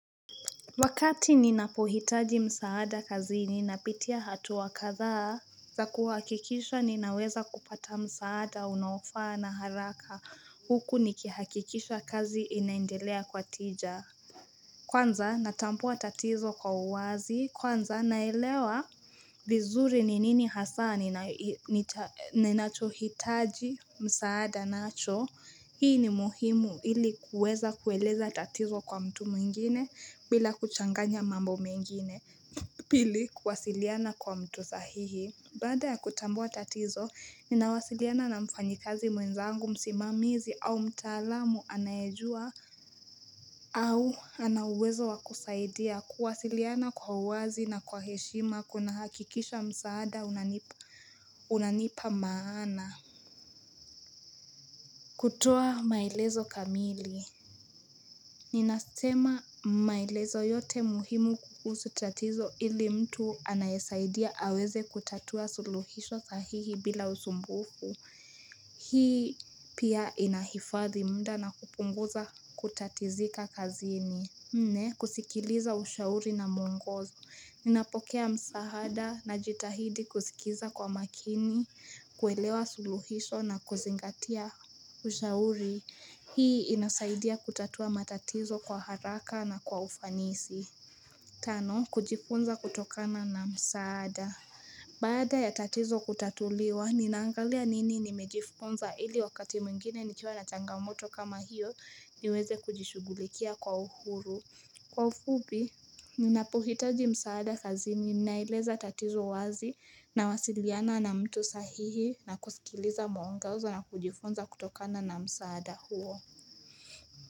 Wakati ninapohitaji msaada kazi ninapitia hatua kadhaa za kuhakikisha ninaweza kupata msaada unaofaa na haraka huku nikihakikisha kazi inaendelea kwa tija Kwanza natambua tatizo kwa uwazi. Kwanza naelewa vizuri ni nini hasa ni na nacho hitaji msaada nacho. Hii ni muhimu ili kuweza kueleza tatizo kwa mtu mwingine bila kuchanganya mambo mengine. Pili kuwasiliana kwa mtu sahihi baada ya kutambua tatizo ninawasiliana na mfanyikazi mwenzangu msimamizi au mtaalamu anayejua au ana uwezo wa kusaidia kuwasiliana kwa uwazi na kwa heshima kuna hakikisha msaada unanipa maana kutoa maelezo kamili Ninasema maelezo yote muhimu kuhusu tatizo ili mtu anayesaidia aweze kutatua suluhisho sahihi bila usumbufu. Hii pia inahifadhi muda na kupunguza kutatizika kazini. Nne, kusikiliza ushauri na mwongozo. Ninapokea msaada najitahidi kusikiza kwa makini, kuelewa suluhisho na kuzingatia ushauri. Hii inasaidia kutatua matatizo kwa haraka na kwa ufanisi. Tano, kujifunza kutokana na msaada. Bada ya tatizo kutatuliwa, ninaangalia nini nimejifunza ili wakati mwingine nikiiwa na changamoto kama hiyo niweze kujishugulikia kwa uhuru. Kwa ufupi, ninapohitaji msaada kazi ninaeleza tatizo wazi nawasiliana na mtu sahihi na kusikiliza muongozo na kujifunza kutokana na msaada huo.